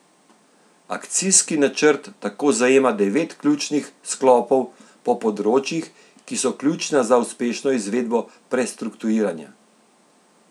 Akcijski načrt tako zajema devet ključnih sklopov po področjih, ki so ključna za uspešno izvedbo prestrukturiranja.